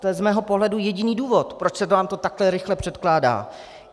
To je z mého pohledu jediný důvod, proč se nám to takhle rychle předkládá.